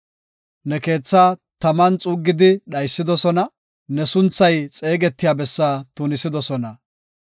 Ne keetha taman xuuggidi dhaysidosona; ne sunthay xeegetiya bessaa tunisidosona.